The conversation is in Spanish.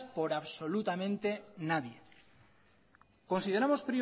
por absolutamente nadie consideramos